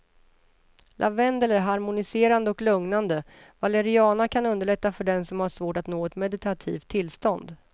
Lavendel är harmoniserande och lugnande, valeriana kan underlätta för den som har svårt att nå ett meditativt tillstånd.